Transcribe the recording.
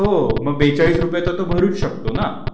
हो बेचाळीस रुपये तो तो भरूच शकतो ना